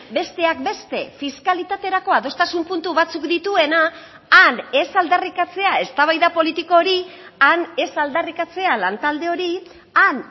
besteak beste fiskalitaterako adostasun puntu batzuk dituena han ez aldarrikatzea eztabaida politiko hori han ez aldarrikatzea lantalde hori han